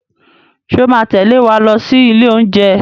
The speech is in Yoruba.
Ṣé o máa tẹ̀lé wa lọ sí ilé oúnjẹ?